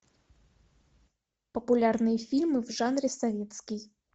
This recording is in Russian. популярные фильмы в жанре советский